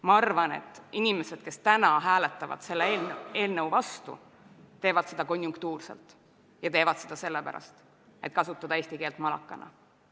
Ma arvan, et inimesed, kes täna hääletavad selle eelnõu vastu, teevad seda konjunktuurselt ja teevad seda sellepärast, et kasutada eesti keelt malakana.